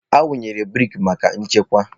Awụnyere breeki maka nchekwa.